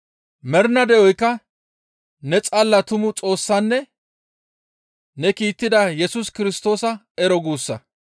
Mernaa de7oykka ne xalla tumu Xoossanne ne kiittida Yesus Kirstoosa ero guussa.